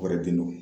Kɔrɔ den don